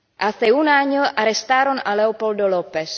Hace un año arrestaron a Leopoldo López.